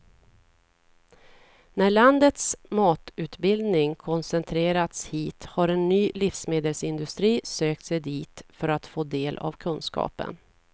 När landets matutbildning koncentrerats hit har en ny livsmedelsindustri sökt sig dit för att få del av kunskapen.